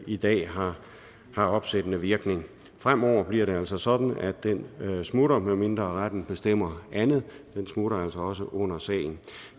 i dag har har opsættende virkning fremover bliver det altså sådan at den smutter medmindre retten bestemmer andet den smutter altså også under sagen